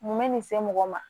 Mun bɛ nin se mɔgɔ ma